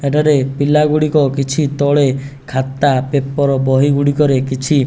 ଏଠାରେ ପିଲା ଗୁଡ଼ିକ କିଛି ତଳେ ଖାତା ପେପର୍ ବହି ଗୁଡ଼ିକ ରେ କିଛି --